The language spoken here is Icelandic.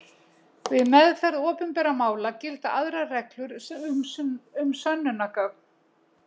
Við meðferð opinbera mála gilda aðrar reglur um sönnunargögn.